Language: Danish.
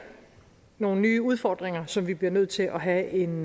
nogle nye udfordringer som vi bliver nødt til at have en